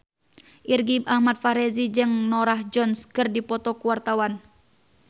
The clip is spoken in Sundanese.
Irgi Ahmad Fahrezi jeung Norah Jones keur dipoto ku wartawan